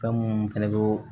Fɛn munnu fɛnɛ be